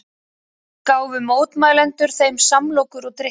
Gáfu mótmælendur þeim samlokur og drykki